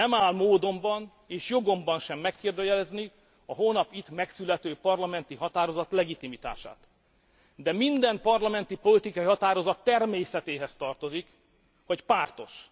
Nem áll módomban és jogomban sem megkérdőjelezni a holnap itt megszülető parlamenti határozat legitimitását, de minden parlamenti politikai határozat természetéhez tartozik, hogy pártos.